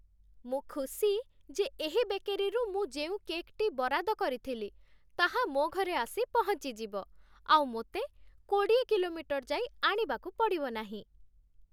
ମୁଁ ଖୁସି ଯେ ଏହି ବେକେରୀରୁ ମୁଁ ଯେଉଁ କେକ୍‌ଟି ବରାଦ କରିଥିଲି, ତାହା ମୋ ଘରେ ଆସି ପହଞ୍ଚିଯିବ, ଆଉ ମୋତେ କୋଡ଼ିଏ କିଲୋମିଟର ଯାଇ ଆଣିବାକୁ ପଡ଼ିବ ନାହିଁ।